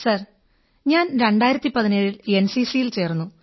sir ഞാൻ 2017 ൽ എൻസിസിയിൽ ചേർന്നു